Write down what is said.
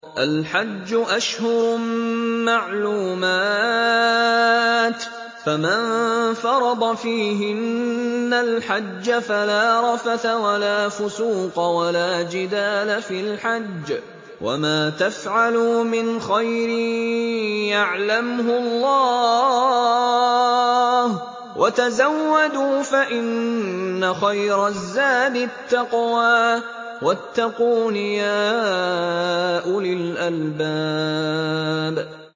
الْحَجُّ أَشْهُرٌ مَّعْلُومَاتٌ ۚ فَمَن فَرَضَ فِيهِنَّ الْحَجَّ فَلَا رَفَثَ وَلَا فُسُوقَ وَلَا جِدَالَ فِي الْحَجِّ ۗ وَمَا تَفْعَلُوا مِنْ خَيْرٍ يَعْلَمْهُ اللَّهُ ۗ وَتَزَوَّدُوا فَإِنَّ خَيْرَ الزَّادِ التَّقْوَىٰ ۚ وَاتَّقُونِ يَا أُولِي الْأَلْبَابِ